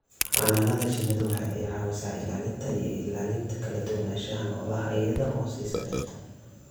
Xannaanada shinnidu waxa ay caawisaa ilaalinta iyo ilaalinta kala duwanaanshaha noolaha iyada oo siisa dhirta.